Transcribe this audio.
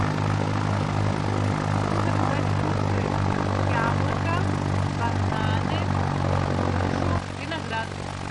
хочу заказать фрукты яблоко бананы грушу виноград